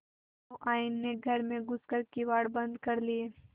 सहुआइन ने घर में घुस कर किवाड़ बंद कर लिये